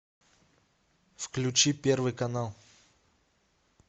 включи первый канал